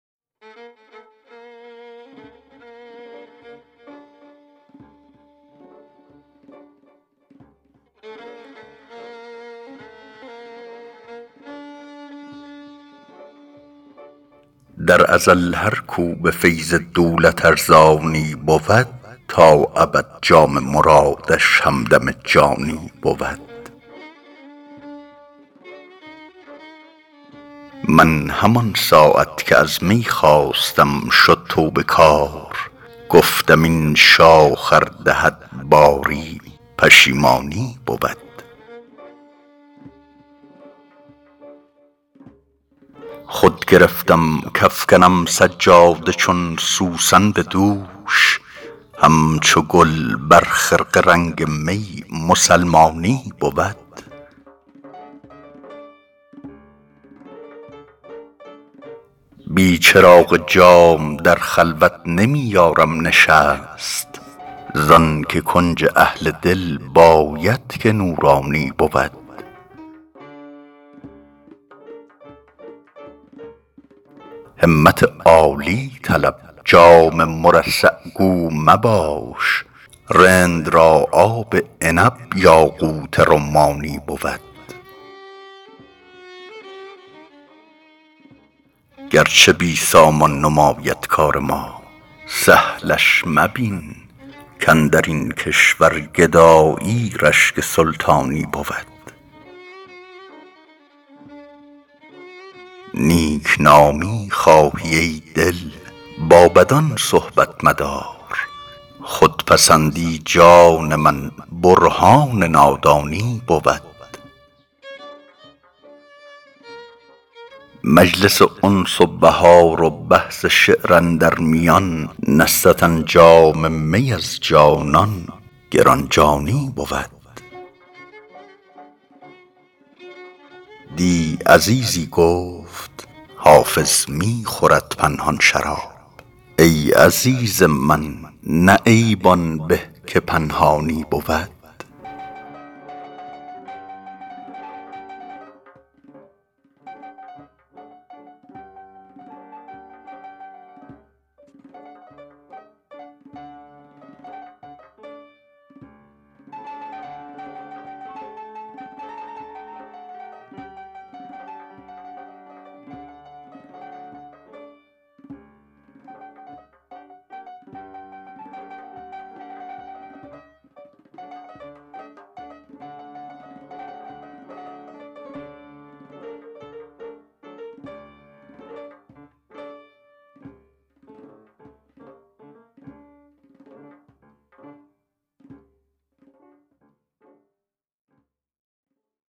در ازل هر کو به فیض دولت ارزانی بود تا ابد جام مرادش همدم جانی بود من همان ساعت که از می خواستم شد توبه کار گفتم این شاخ ار دهد باری پشیمانی بود خود گرفتم کافکنم سجاده چون سوسن به دوش همچو گل بر خرقه رنگ می مسلمانی بود بی چراغ جام در خلوت نمی یارم نشست زان که کنج اهل دل باید که نورانی بود همت عالی طلب جام مرصع گو مباش رند را آب عنب یاقوت رمانی بود گرچه بی سامان نماید کار ما سهلش مبین کاندر این کشور گدایی رشک سلطانی بود نیک نامی خواهی ای دل با بدان صحبت مدار خودپسندی جان من برهان نادانی بود مجلس انس و بهار و بحث شعر اندر میان نستدن جام می از جانان گران جانی بود دی عزیزی گفت حافظ می خورد پنهان شراب ای عزیز من نه عیب آن به که پنهانی بود